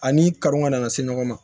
Ani kanu ka na se ɲɔgɔn ma